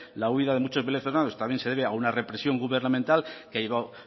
la huida de muchos venezolanos también se debe a una represión gubernamental que ha llevado